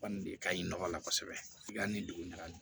Kɔni de ka ɲi nɔgɔ la kosɛbɛ yani dugugali